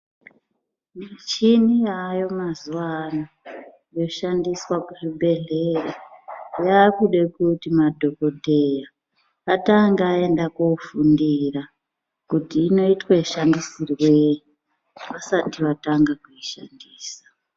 Michina yaayo mazuva ano yoshandiswa kuzvibhedhleya yaakude kuti madhokoteya atange agenda kofundira kuti inoitwe mashandisirwo eyii vasati vatanga kuishandisa.